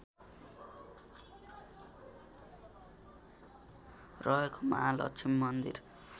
रहेको महालक्ष्मी मन्दिर